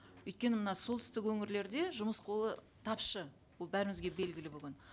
өйткені мына солтүстік өңірлерде жұмыс қолы тапшы ол бәрімізге белгілі бүгін